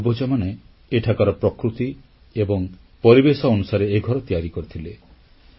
ଆମର ପୂର୍ବଜମାନେ ଏଠାକାର ପ୍ରକୃତି ଏବଂ ପରିବେଶ ଅନୁସାରେ ଏ ଘର ତିଆରି କରିଥିଲେ